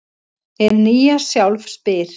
Hið nýja sjálf spyr: